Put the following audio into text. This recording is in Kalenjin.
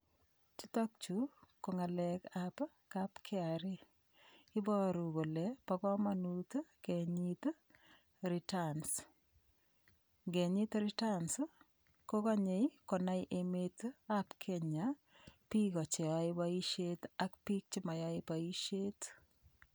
Chutokchu ko ng'alekab kapkra iboru kole bo komonut kenyit return ngenyit return kokonyei konai emetab Kenya biko cheyoei boishet ak biik chemayoei boishet